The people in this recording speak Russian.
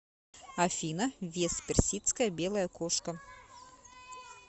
афина вес персидская белая кошка